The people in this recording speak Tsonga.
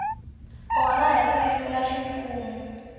kona hi ririmi ra ximfumo